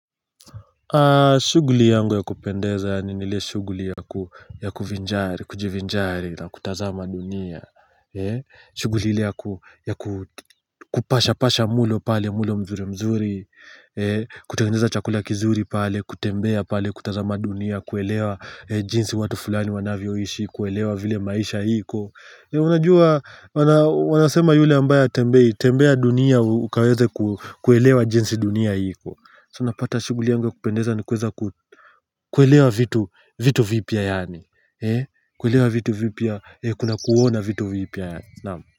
Shughuli yangu ya kupendeza ni ile shughuli ya kujivinjari na kutazama dunia shughuli ile ya kupasha pasha mlo pale mlo mzuri mzuri kutengeneza chakula kizuri pale, kutembea pale, kutazama dunia, kuelewa jinsi watu fulani wanavyoishi, kuelewa vile maisha iko Unajua, wanasema yule ambaye hatembei tembea dunia ukaweze kuelewa jinsi dunia iko So unapata shughuli yangu ya kupendeza ni kuweza kuelewa vitu vitu vipya yaani kuelewa vitu vipya Kuna kuona vitu vipya Naam.